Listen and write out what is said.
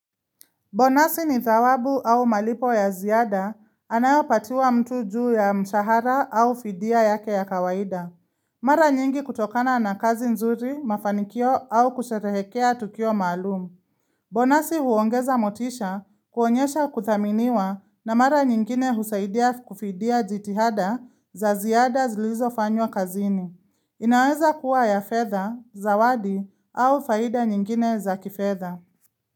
Bonasi ni thawabu au malipo ya ziada anayopatiwa mtu juu ya mshahara au fidia yake ya kawaida. Mara nyingi kutokana na kazi nzuri mafanikio au kusherehekea tukio maalum. Bonasi huongeza motisha kuonyesha kuthaminiwa na mara nyingine husaidia kufidia jitihada za ziada zilizo fanywa kazini. Inaweza kuwa ya fedha, zawadi au faida nyingine za kifedha.